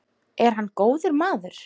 Er hann góður maður?